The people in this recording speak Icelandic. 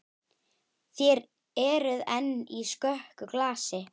Þér eruð enn í skökku glasi.